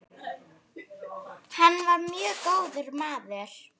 Hann var mjög góður maður.